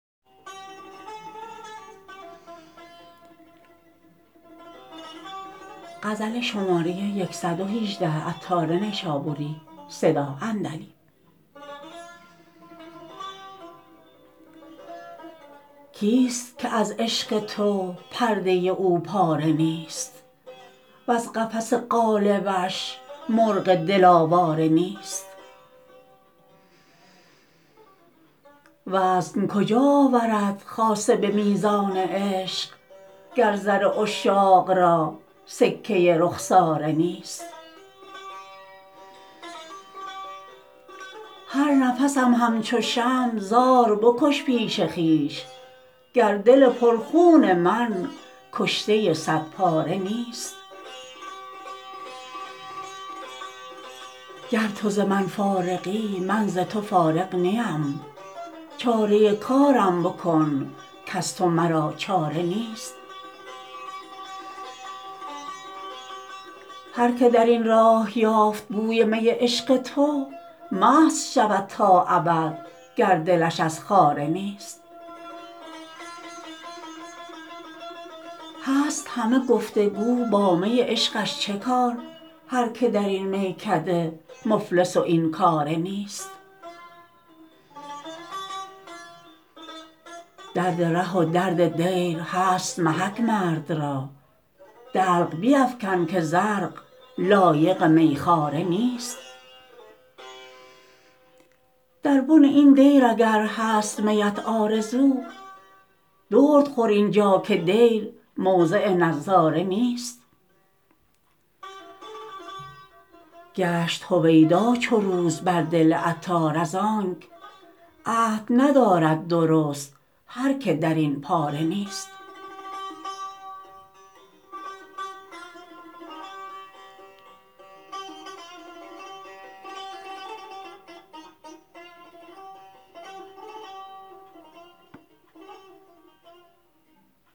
کیست که از عشق تو پرده او پاره نیست وز قفس قالبش مرغ دل آواره نیست وزن کجا آورد خاصه به میزان عشق گر زر عشاق را سکه رخساره نیست هر نفسم همچو شمع زاربکش پیش خویش گر دل پر خون من کشته صد پاره نیست گر تو ز من فارغی من ز تو فارغ نیم چاره کارم بکن کز تو مرا چاره نیست هر که درین راه یافت بوی می عشق تو مست شود تا ابد گر دلش از خاره نیست هست همه گفتگو با می عشقش چه کار هرکه درین میکده مفلس و این کاره نیست درد ره و درد دیر هست محک مرد را دلق بیفکن که زرق لایق میخواره نیست در بن این دیر اگر هست میت آرزو درد خور اینجا که دیر موضع نظاره نیست گشت هویدا چو روز بر دل عطار از آنک عهد ندارد درست هر که درین پاره نیست